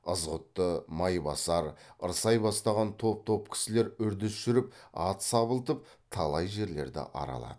ызғұтты майбасар ырсай бастаған топ топ кісілер үрдіс жүріп ат сабылтып талай жерлерді аралады